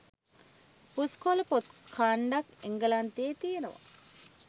පුස්කොල පොත් කාන්ඩක් එංගලන්තෙ තියෙනව.